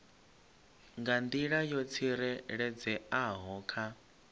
nga nḓila yo tsireledzeaho kha